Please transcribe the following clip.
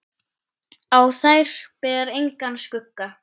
Á þær ber engan skugga.